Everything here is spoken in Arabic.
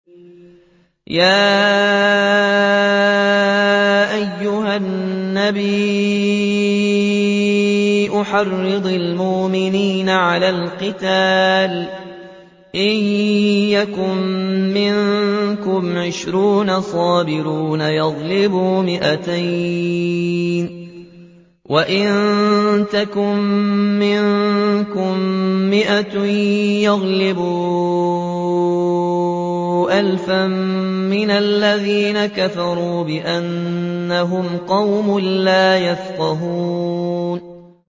يَا أَيُّهَا النَّبِيُّ حَرِّضِ الْمُؤْمِنِينَ عَلَى الْقِتَالِ ۚ إِن يَكُن مِّنكُمْ عِشْرُونَ صَابِرُونَ يَغْلِبُوا مِائَتَيْنِ ۚ وَإِن يَكُن مِّنكُم مِّائَةٌ يَغْلِبُوا أَلْفًا مِّنَ الَّذِينَ كَفَرُوا بِأَنَّهُمْ قَوْمٌ لَّا يَفْقَهُونَ